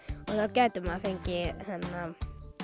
gæti maður fengið